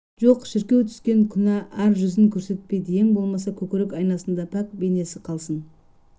жоқ шіркеу түскен күнә ар жүзін көрсетпейді ең болмаса көкірек айнасында пәк бейнесі қалсын